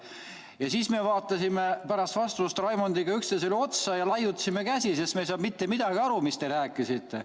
Ja siis me vaatasime Raimondiga üksteisele otsa ja laiutasime käsi, sest me ei saanud mitte midagi aru, mis te rääkisite.